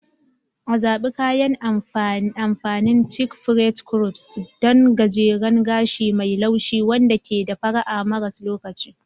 A Zaɓi kayan amfanin chic French crop, ɗan gajeren gashi mai laushi wanda ke da fara'a maras lokaci.